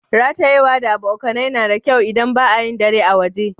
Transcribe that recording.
Ratayewa da abokane na da kyau idan ba'a yin dare a waje.